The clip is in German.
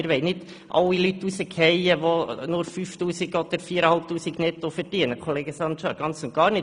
wir wollen nicht alle Leute hinausschmeissen, welche nur 5000 oder 4500 Franken netto verdienen, Kollege Sancar – ganz und gar nicht.